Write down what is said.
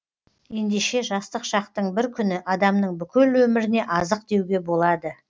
ендеше жастық шақтың бір күні адамның бүкіл өміріне азық деуге болады